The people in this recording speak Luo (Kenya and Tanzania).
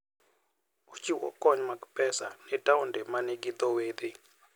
Ochiwo kony mag pesa ne taonde ma nigi dho wedhe.